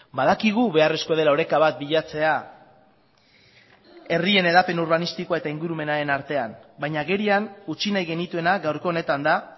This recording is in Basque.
badakigu beharrezkoa dela oreka bat bilatzea herrien hedapen urbanistikoa eta ingurumenaren artean baina agerian utzi nahi genituena gaurko honetan da